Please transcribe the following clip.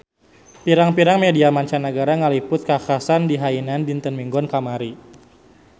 Pirang-pirang media mancanagara ngaliput kakhasan di Hainan dinten Minggon kamari